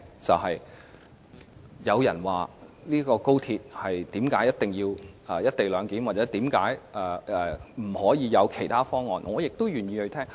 若有人解釋為甚麼高鐵一定要"一地兩檢"或為甚麼不能採用其他方案，我也願意聆聽這些意見。